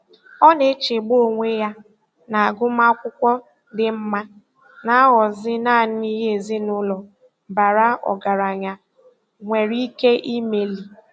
Ọ na-echegbu onwe ya na agụmakwụkwọ dị mma na-aghọzi naanị ihe ezinụụlọ bara ọgaranya nwere ike imeli.